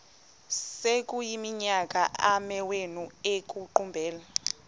sekuyiminyaka amawenu ekuqumbele